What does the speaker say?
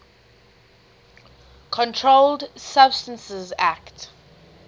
controlled substances acte